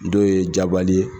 Dɔw ye Jabali ye